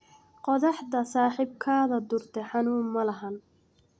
Qothaxdha saxibkadha durte xanun mlaxan.